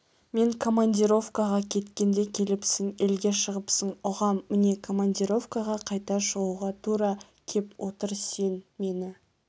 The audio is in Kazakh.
мен командировкаға кеткенде келіпсің елге шығыпсың ұғам міне командировкаға қайта шығуға тура кеп отыр сен мені